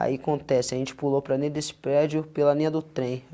Aí acontece, a gente pulou para nele desse prédio pela linha do trem.